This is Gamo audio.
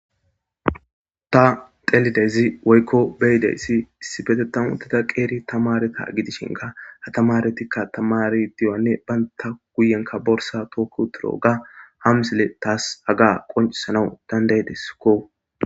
ta telidezi woykko beyideyssi issi betetamutida qeeri tamareta gidishinka atamaretikka tamari diyanne baynta guyenka borsa tookko tiro ga ham sile taas aga qoncisanawu dandayedeskko